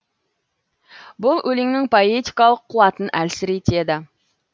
бұл өлеңнің поэтикалық қуатын әлсіретеді